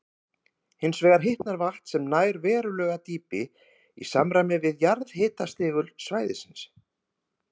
Hins vegar hitnar vatn, sem nær verulegu dýpi, í samræmi við jarðhitastigul svæðisins.